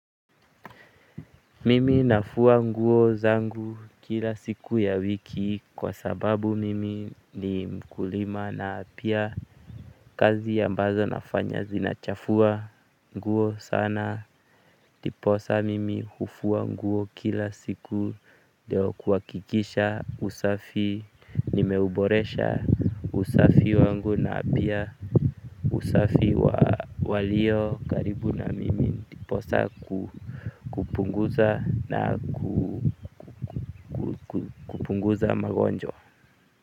Mimi nafua nguo zangu kila siku ya wiki kwa sababu mimi ni mkulima na pia kazi ambazo nafanya zinachafua nguo sana ndiposa mimi hufua nguo kila siku ndio kuhakikisha usafi nimeuboresha usafi wangu na apia usafi walio karibu na mimi ndiposa kupunguza na kupunguza magonjwa.